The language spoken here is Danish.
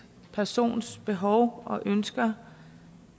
persons behov og ønsker